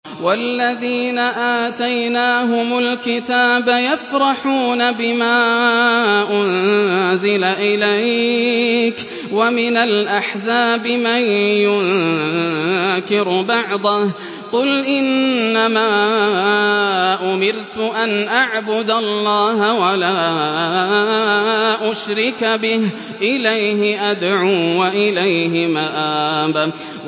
وَالَّذِينَ آتَيْنَاهُمُ الْكِتَابَ يَفْرَحُونَ بِمَا أُنزِلَ إِلَيْكَ ۖ وَمِنَ الْأَحْزَابِ مَن يُنكِرُ بَعْضَهُ ۚ قُلْ إِنَّمَا أُمِرْتُ أَنْ أَعْبُدَ اللَّهَ وَلَا أُشْرِكَ بِهِ ۚ إِلَيْهِ أَدْعُو وَإِلَيْهِ مَآبِ